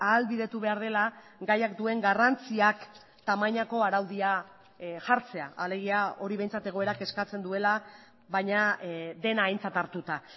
ahalbidetu behar dela gaiak duen garrantziak tamainako araudia jartzea alegia hori behintzat egoerak eskatzen duela baina dena aintzat hartuta